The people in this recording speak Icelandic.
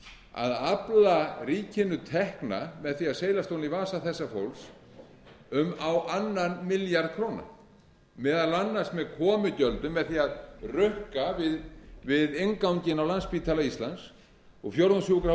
að afla ríkinu tekna með því að seilast ofan í vasa þessa fólks um á annan milljarð króna meðal annars með komugjöldum með því að rukka við innganginn á landspítala íslands og